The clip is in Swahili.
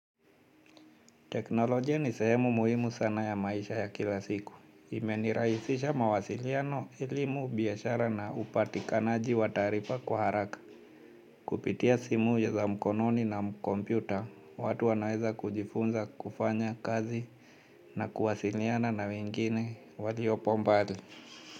Teknolojia ni sehemu muhimu sana ya maisha ya kila siku. Imenirahisisha mawasiliano elimu biashara na upatikanaji wa taarifa kwa haraka. Kupitia simu ya za mkononi na kompyuta, watu wanaweza kujifunza kufanya kazi na kuwasiliana na wengine waliopo mbali.